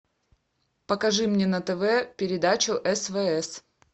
покажи мне на тв передачу свс